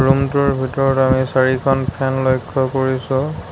ৰুমটোৰ ভিতৰত আমি চাৰিখন ফেন লক্ষ্য কৰিছোঁ।